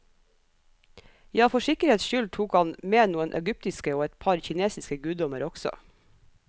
Ja, for sikkerhets skyld tok han med noen egyptiske og et par kinesiske guddommer også.